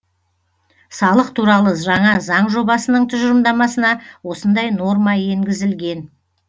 салық туралы жаңа заң жобасының тұжырымдамасына осындай норма енгізілген